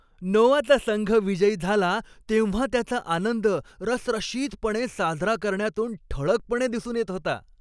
नोआचा संघ विजयी झाला तेव्हा त्याचा आनंद रसरशीतपणे साजरा करण्यातून ठळकपणे दिसून येत होता.